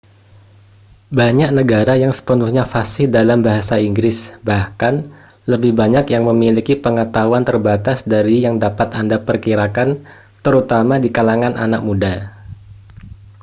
banyak negara yang sepenuhnya fasih dalam bahasa inggris bahkan lebih banyak yang memiliki pengetahuan terbatas dari yang dapat anda perkirakan terutama di kalangan anak muda